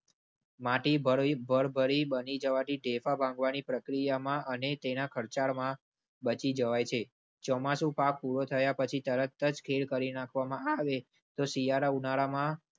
માટી ભરી ભરી બની જવાથી ઢેફા ભાગવાની પ્રક્રિયામાં અને તેના ખર્ચામાં બચી જવાય છે. ચોમાસું પૂરું થયા પછી તરત જ ખેડ કરી નાખવામાં આવે તો શિયાળા ઉનાળામાં.